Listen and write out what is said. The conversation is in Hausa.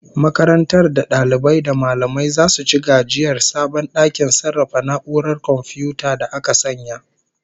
Makarantar da dalibai da mallamai zasu ci gajiyar sabon dakin sarrafa na'urar komfiyuta da aka sanya